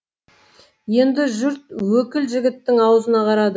енді жұрт өкіл жігіттің аузына қарады